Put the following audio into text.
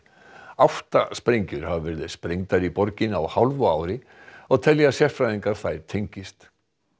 átta sprengjur hafa verið sprengdar í borginni á hálfu ári og telja sérfræðingar að þær tengist